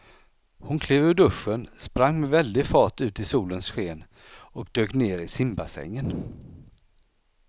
Hon klev ur duschen, sprang med väldig fart ut i solens sken och dök ner i simbassängen.